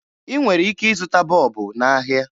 Ị nwere ike ịzụta bọọbụ n'ahịa